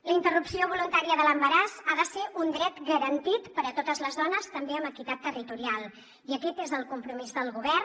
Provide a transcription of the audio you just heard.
la interrupció voluntària de l’embaràs ha de ser un dret garantit per a totes les dones també amb equitat territorial i aquest és el compromís del govern